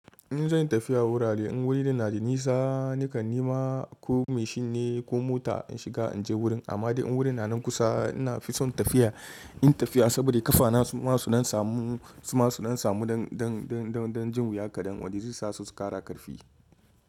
In zan yi tafiya wurare in wurin na da nisa nakan nema ko mashin ne ko mota in shiga in je wurin amma dai in wurin na nan kusa ina fi son tafiya, yin tafiya saboda ƙafana su ma su ɗan samu, su ma su ɗa samu dan dan dan dan jin wuya kaɗan wanda ze sa su ƙara ƙarfi.